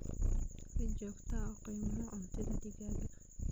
Si joogto ah u qiimee quudinta digaagga.